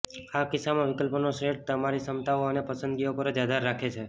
આ કિસ્સામાં વિકલ્પોનો સેટ તમારી ક્ષમતાઓ અને પસંદગીઓ પર જ આધાર રાખે છે